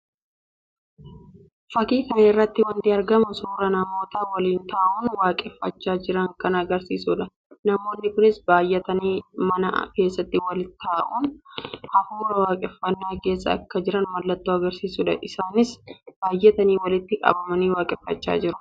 Fakkii kana irratti wanti argamu suuraa namoota waliin ta'uun waaqeffachaa jiranii kan agarsiisuudha. Namoonni kunis baayyatanii mana keessatti waliin ta'uun hafuura waaqeffannaa keessa akka jiran mallattoo agarsiisuudha. Isaannis baayyatanii walitti qabamaan waaqeffachaa jiru.